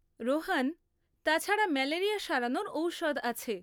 রোহান তাছাড়া, ম্যালেরিয়া সারানোর ঔষধ আছে।